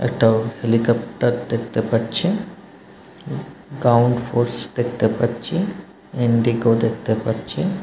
একটাও হেলিকপ্টার দেখতে পাচ্ছি গাউন্ড ফোর্স দেখতে পাচ্ছি ইন্ডিগো দেখতে পাচ্ছি।